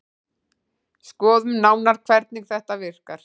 Skoðum nánar hvernig þetta virkar.